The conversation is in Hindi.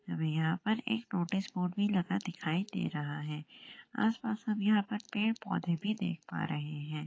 हमें यहां पर एक नोटिस बोर्ड भी लगा दिखाई दे रहा है आसपास हम यहां पर पेड़ पौधे भी देख पा रहे है।